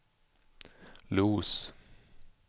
Los